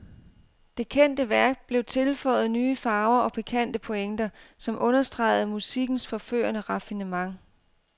Det kendte værk blev tilføjet nye farver og pikante pointer, som understregede musikkens forførende raffinement.